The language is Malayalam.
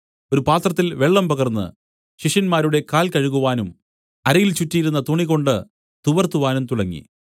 ഒരു പാത്രത്തിൽ വെള്ളം പകർന്നു ശിഷ്യന്മാരുടെ കാൽ കഴുകുവാനും അരയിൽ ചുറ്റിയിരുന്ന തുണികൊണ്ട് തുവർത്തുവാനും തുടങ്ങി